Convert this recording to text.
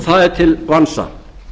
það er til vansa